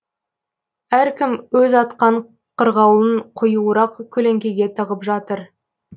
әркім өз атқан қырғауылын қоюырақ көлеңкеге тығып жатыр